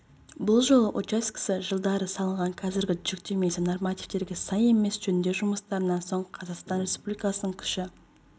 бұл жол учаскесі жылдары салынған қазіргі жүктемесі нормативтерге сай емес жөндеу жұмыстарынан соң қазақстан республикасының күші